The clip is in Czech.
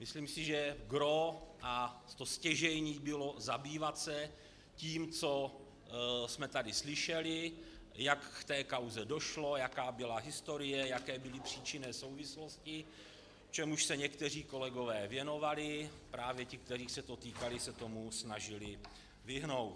Myslím si, že gros a to stěžejní bylo zabývat se tím, co jsme tady slyšeli, jak k té kauze došlo, jaká byla historie, jaké byly příčinné souvislosti, čemuž se někteří kolegové věnovali, právě ti, kterých se to týkalo, se tomu snažili vyhnout.